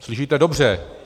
Slyšíte dobře.